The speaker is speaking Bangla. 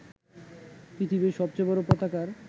পৃথিবীর সবচেয়ে বড় পতাকার